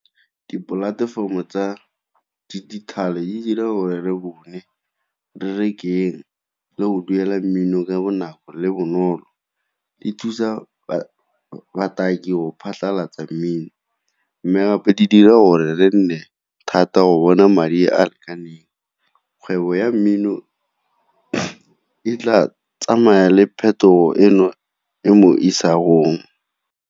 Dipolatefomo tsa dijithale di dira gore re bone re rekeng le go duela mmino ka bonako le bonolo. Di thusa bataki go phatlhalatsa mmino mme gape di dira gore le nne thata go bona madi a a lekaneng, kgwebo ya mmino e tla tsamaya le phetogo eno e mo isagong.